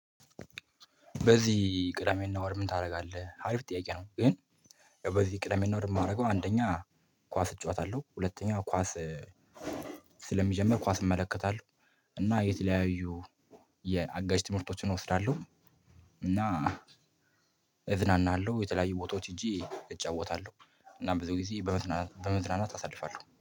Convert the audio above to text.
በዚህ ቅዳሜና እሁድ ምን ታደርጋለህ? አሪፍ ጥያቄ ነው ግን ያው በዚህ ቅዳሜና እሁድ የማደርገው አንደኛ ኳስ እጫወታለሁ፣ ሁለተኛ ኳስ ስለሚጀምር ኳስ እመለከታለሁ፣ እና የተለያዩ የአጋዥ ትምህርቶችን እወስዳለሁ እና እዝናናለሁ የተለያዩ ቦታዎች ሄጄ እጫወታለሁ። እና ብዙ ጊዜ በመዝናናት በመዝናናት አሳልፋለሁ።